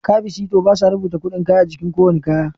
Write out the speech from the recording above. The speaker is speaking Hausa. Kabi sito basa rubata kuɗin kayan a jiki kowanne kaya